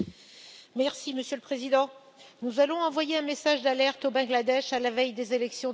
Monsieur le Président, nous allons envoyer un message d'alerte au Bangladesh, à la veille des élections de décembre.